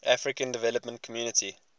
african development community